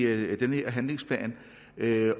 her handlingsplan